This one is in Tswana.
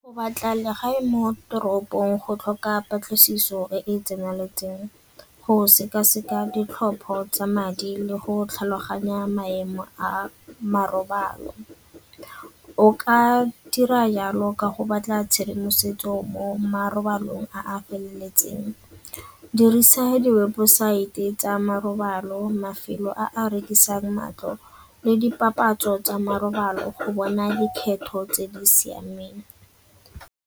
Go batla legae mo toropong go tlhoka patlisiso e e tseneleng, go sekaseka ditlhopho tsa madi le go tlhaloganya maemo a a marobalo. O ka dira yalo ka go batla tshedimosetso mo marobalong a a feleletseng, dirisa diwebosaete tsa marobalo, mafelo a rekisang matlo le dipapatso tsa marobalo go bona dikgetho tse di siameng.